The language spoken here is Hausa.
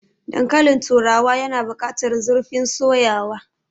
Dankalin turawa yana bukatar zurfin soyawa.